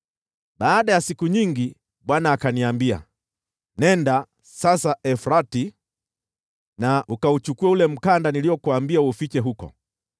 Baada ya siku nyingi Bwana akaniambia, “Nenda sasa Frati ukauchukue ule mkanda niliokuambia uufiche huko.”